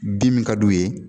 Bi min ka d'u ye